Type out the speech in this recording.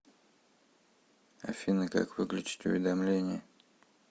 афина как выключить уведомление